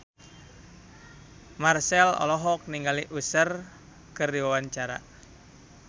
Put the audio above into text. Marchell olohok ningali Usher keur diwawancara